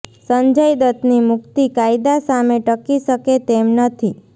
સંજય દત્તની મુક્તિ કાયદા સામે ટકી શકે તેમ નથી